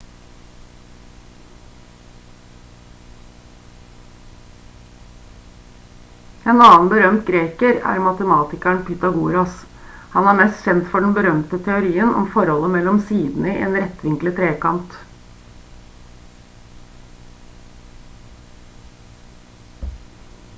en annen berømt greker er matematikeren pytagoras han er mest kjent for den berømte teorien om forholdet mellom sidene i en rettvinklet trekant